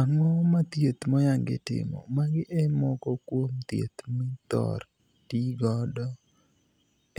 Ango ma thieth moyangi timo. Magi e moko kuom thieth mithor tii godo